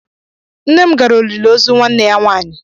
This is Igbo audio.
Nne m gara olili ozu nwanne ya nwaanyị.